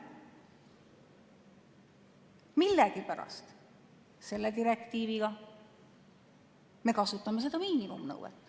Millegipärast selle direktiivi puhul me kasutame seda miinimumnõuet.